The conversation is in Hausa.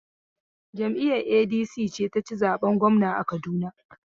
Jam'iyar ADC ce ta ci zaɓen gwamna a Kaduna.